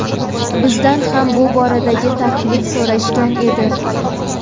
Bizdan ham bu borada taklif so‘rashgan edi.